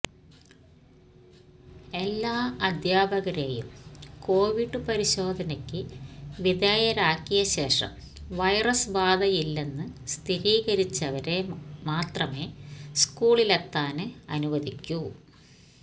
എല്ലാ അധ്യാപകരെയും കോവിഡ് പരിശോധനയ്ക്ക് വിധേയരാക്കിയശേഷം വൈറസ് ബാധയില്ലെന്ന് സ്ഥിരീകരിച്ചവരെ മാത്രമെ സ്കൂളിലെത്താന് അനുവദിക്കൂ